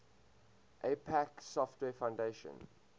apache software foundation